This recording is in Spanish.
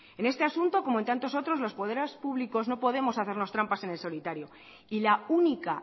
en este asunto como en tantos otros los poderes públicos no podemos hacernos trampas en el solitario y la única